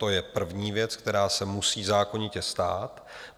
To je první věc, která se musí zákonitě stát.